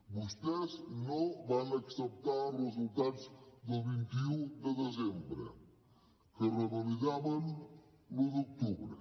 vostès no van acceptar els resultats del vint un de desembre que revalidaven l’un d’octubre